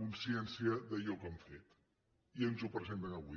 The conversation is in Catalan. consciència d’allò que han fet i ens ho presenten avui